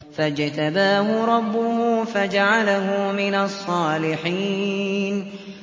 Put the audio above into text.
فَاجْتَبَاهُ رَبُّهُ فَجَعَلَهُ مِنَ الصَّالِحِينَ